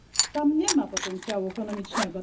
Tam nie ma potencjału ekonomicznego.